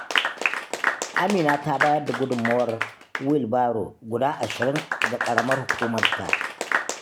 Amina ta bayar da gudunmawar wil baro guda ashirin ga ƙaramar hukumarta.